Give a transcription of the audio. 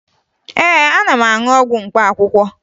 Ee, ana m aṅụ ọgwụ mkpaakwụkwọ